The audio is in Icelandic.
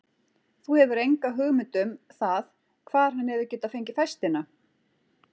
Þú hefur enga hugmynd um það hvar hann hefur getað fengið festina?